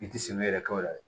I ti sɛgɛn yɛrɛ kɛ o la dɛ